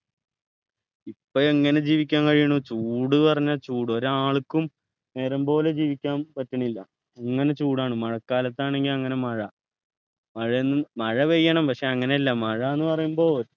ഇപ്പോ എങ്ങനെ ജീവിക്കാൻ കഴിയുണു ചൂട് പറഞ്ഞാ ചൂട് ഒരാൾക്കും നേരം പോലെ ജീവിക്കാൻ പറ്റണില്ല അങ്ങനെ ചൂടാണ് മഴക്കാലത്താണെങ്കിൽ അങ്ങനെ മഴ മഴയെന്നും മഴ പെയ്യണം പക്ഷെ അങ്ങനെയല്ല മഴ ന്നു പറയുമ്പോ